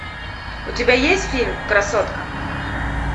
у тебя есть фильм красотка